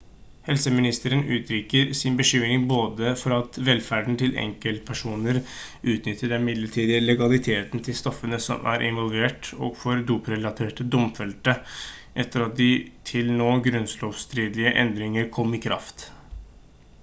helseministeren uttrykte sin bekymring både for at velferden til enkeltpersoner utnytter den midlertidige legaliteten til stoffene som er involvert og for doprelaterte domfelte etter at de til nå grunnlovsstridige endringene kom i kraft